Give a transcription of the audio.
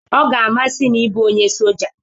Ọ ga-amasị m ịbụ onye soja